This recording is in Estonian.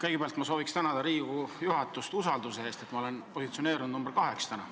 Kõigepealt ma soovin tänada Riigikogu juhatust usalduse eest, et ma olen täna positsioneerunud number kaheks.